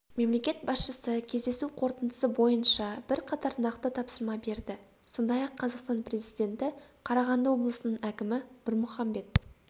мемлекет басшысы кездесу қорытындысы бойынша бірқатар нақты тапсырма берді сондай-ақ қазақстан президенті қарағанды облысының әкімі нұрмұхамбет